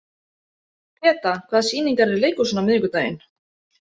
Peta, hvaða sýningar eru í leikhúsinu á miðvikudaginn?